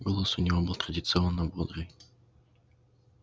голос у него был традиционно бодрый